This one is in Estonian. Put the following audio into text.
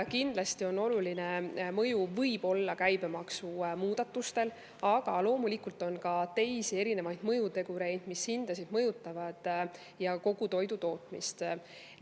Kindlasti võib olla oluline mõju käibemaksumuudatustel, aga loomulikult on ka teisi mõjutegureid, mis hindasid ja kogu toidutootmist mõjutavad.